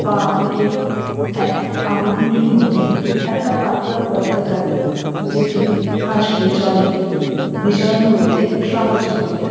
পা দুটি এক আঙুল গুলির মধ্যে একটা পাতলা পর্দা থাকে যেটি হাঁসকে জলে বিচরণ করতে সাহায্য করে।